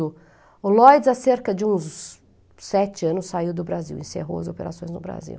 O Lloyds, há cerca de uns sete anos, saiu do Brasil, encerrou as operações no Brasil.